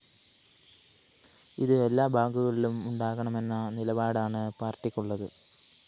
ഇത് എല്ലാ ബാങ്കുകളിലും ഉണ്ടാകണമെന്ന നിലപാടാണ് പാര്‍ട്ടിക്കുള്ളത്